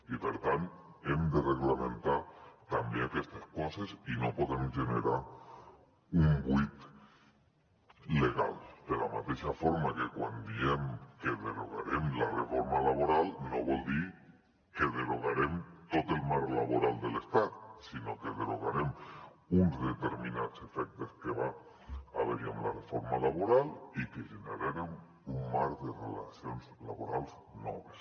i per tant hem de reglamentar també aquestes coses i no podem generar un buit legal de la mateixa forma que quan diem que derogarem la reforma laboral no vol dir que derogarem tot el marc laboral de l’estat sinó que derogarem uns determinats efectes que va haver hi amb la reforma laboral i que generarem un marc de relacions laborals noves